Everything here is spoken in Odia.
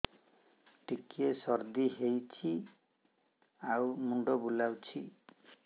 ଟିକିଏ ସର୍ଦ୍ଦି ହେଇଚି ଆଉ ମୁଣ୍ଡ ବୁଲାଉଛି